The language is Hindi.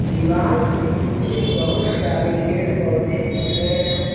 दीवाल के पीछे बहुत से सारे पेड़ पौधे दिख रहे हैं।